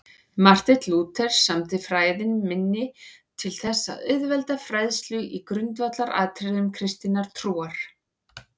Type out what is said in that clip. Marteinn Lúther samdi Fræðin minni til þess að auðvelda fræðslu í grundvallaratriðum kristinnar trúar.